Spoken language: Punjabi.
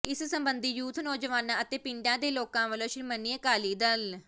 ਇਸ ਸਬੰਧੀ ਯੂਥ ਨੌਜਵਾਨਾਂ ਅਤੇ ਪਿੰਡਾਂ ਦੇ ਲੋਕਾਂ ਵੱਲੋ ਸ਼੍ਰੋਮਣੀ ਅਕਾਲੀ ਦਲ